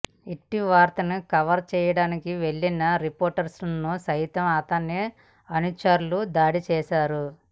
ఇట్టి వార్తను కవర్ చేయడానికి వెళ్లిన రిపోర్టర్ను సైతం అతని అనుచరులు దాడి చేశారు